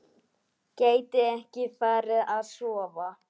Gæti ekki farið að sofa.